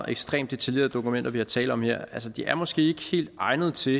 ekstremt detaljerede dokumenter der er tale om her de er måske ikke helt egnede til